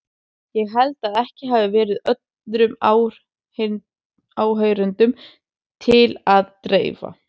Ég held að ekki hafi verið öðrum áheyrendum til að dreifa.